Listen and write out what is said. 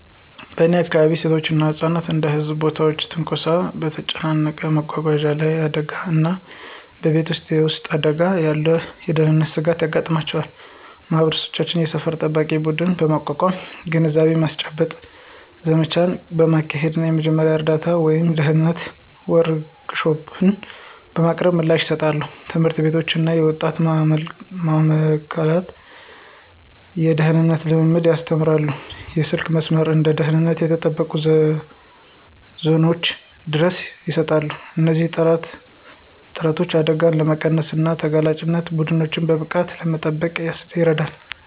በእኔ አካባቢ፣ ሴቶች እና ህጻናት እንደ በህዝብ ቦታዎች ትንኮሳ፣ በተጨናነቀ መጓጓዣ ላይ አደጋዎች እና በቤት ውስጥ የቤት ውስጥ አደጋዎች ያሉ የደህንነት ስጋቶች ያጋጥሟቸዋል። ማህበረሰቦች የሰፈር ጠባቂ ቡድኖችን በማቋቋም፣ የግንዛቤ ማስጨበጫ ዘመቻዎችን በማካሄድ እና የመጀመሪያ እርዳታ ወይም የደህንነት ወርክሾፖችን በማቅረብ ምላሽ ይሰጣሉ። ትምህርት ቤቶች እና የወጣቶች ማእከላት የደህንነት ልምዶችን ያስተምራሉ, የስልክ መስመሮች እና ደህንነቱ የተጠበቀ ዞኖች ድጋፍ ይሰጣሉ. እነዚህ ጥረቶች አደጋዎችን ለመቀነስ እና ተጋላጭ ቡድኖችን በብቃት ለመጠበቅ ይረዳሉ።